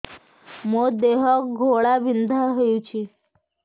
ମୋ ଦେହ ଘୋଳାବିନ୍ଧା ହେଉଛି